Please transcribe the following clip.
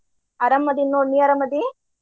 ಅರಾಮ ಅದಿನ ನೋಡ ನೀ ಅರಾಮ ಅದಿ?